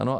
Ano?